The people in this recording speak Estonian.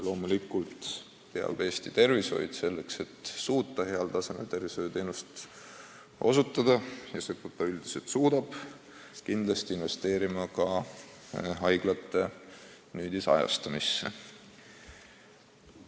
Loomulikult peab Eesti tervishoid, selleks et suuta heal tasemel tervishoiuteenust osutada – ja seda ta üldiselt suudab – kindlasti investeerima ka haiglate nüüdisajastamisse.